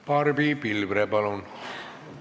Barbi Pilvre, palun!